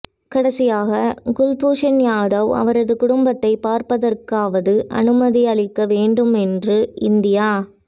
கடைசியாக குல்பூஷன் யாதவ் அவரது குடும்பத்தை பார்ப்பதற்காவது அனுமதி அளிக்க வேண்டும் என்று இந்தியா